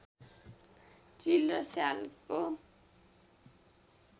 चिल र स्यालको